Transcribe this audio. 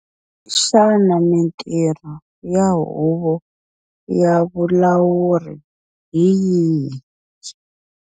Xana mitirho ya huvo ya vulawuri hi yihi?